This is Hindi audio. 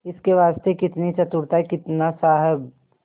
इसके वास्ते कितनी चतुरता कितना साहब